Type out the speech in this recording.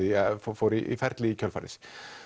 og fór í ferli í kjölfarið